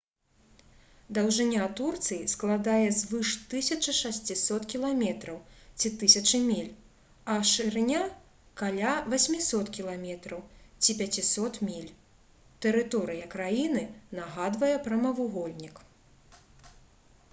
даўжыня турцыі складае звыш 1600 км ці 1000 міль а шырыня — каля 800 км ці 500 міль. тэрыторыя краіны нагадвае прамавугольнік